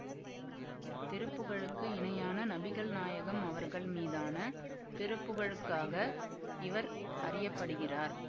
திருப்புகழுக்கு இணையான நபிகள் நாயகம் அவர்கள் மீதான திருப்புகழுக்காக இவர் அறிய படுகிறார்